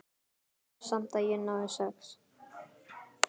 Vona samt að ég nái sex.